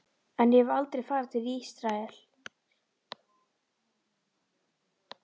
En ég hef aldrei farið til Ísraels.